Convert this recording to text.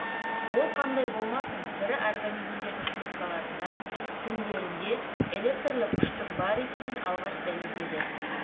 ол қандай болмасын тірі организмдердің клеткаларында тіндерінде электрлік күштің бар екенін алғаш дәлелдеді